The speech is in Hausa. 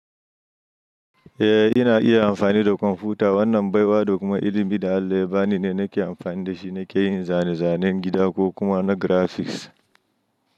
Eh ina iya amfani da kwamfuta. Wannan baiwa da kuma ilimi da Allah ya bani ne nake amfani da shi nake yin zane-zanen gida ko kuma na graphics.